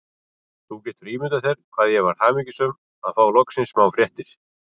Þú getur ímyndað þér hvað ég varð hamingjusöm að fá loksins smá fréttir.